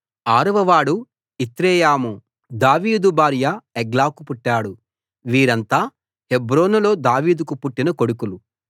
ఆరవ వాడు ఇత్రెయాము దావీదు భార్య ఎగ్లాకు పుట్టాడు వీరంతా హెబ్రోనులో దావీదుకు పుట్టిన కొడుకులు